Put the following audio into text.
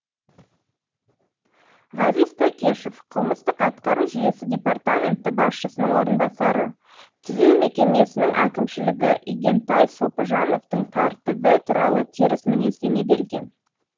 ғазиз тәкешев қылмыстық атқару жүйесі департаменті басшысының орынбасары түзеу мекемесінің әкімшілігі игентай сопыжановтың тәртібі туралы теріс мінездеме берген